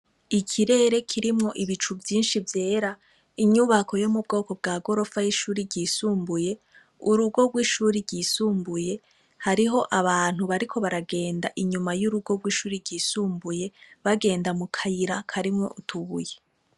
Ikirerere kirimwo ibicu vyinshi vyera, inyubako yo mubwoko bwa gorofa y’ishuri ryisumbuye, urugo rw’ishuri ryisumbuye hariho abantu bariko baragenda inyuma y’urugo gw’ishuri ryisumbuye, bagenda mukayira karimwo utubuye.